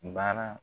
Baara